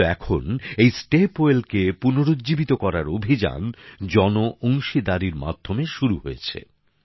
কিন্তু এখন এই স্টেপ ওয়েলকে পুনরুজ্জীবিত করার অভিযান জন অংশীদারির মাধ্যমে শুরু হয়েছে